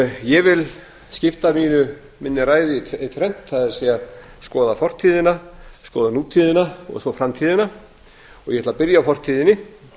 ég vil skipta minni ræðu í þrennt það er skoða fortíðina skoða nútíðina og svo framtíðina og ég ætla að byrja á fortíðinni